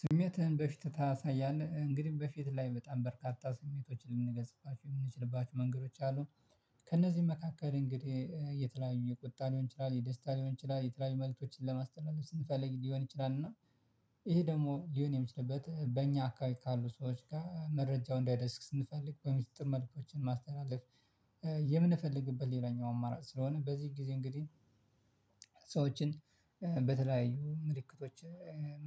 ስሜትህን በፊትህ ታሳያለህ? እንግዲህ በፊት ላይ በጣም በርካታ ስሜቶችን ልንገልፅፋችሁ የምንችልባችሁ መንገዶች አሉ። ከእነዚህ መካከል እንግዲህ የተለያዩ የቁጣ ሊሆን ይችላል የደስታ ሊሆን ይችላል የተለያዩ መልእክቶችን ለማስተላለፍ ስንፈልግ ሊሆን ይችላል። እና ይሄ ደግሞ ሊሆን የሚችልበት በእኛ አካባቢ ካሉ ሰዎች ጋር መረጃው እንዳይደርስ ስንፈልግ በምጥር መልኮችን ማስተላለፍ የምንፈልግበት ሌላኛው አማራጭ ስለሆነ በዚህ ጊዜ እንግዲህ ሰዎችን በተለያዩ ምልክቶች